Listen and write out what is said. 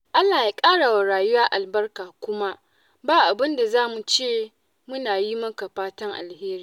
Allah ya ƙara wa rayuwa albarka kuma ba abin da za mu ce muna yi maka fatan alheri.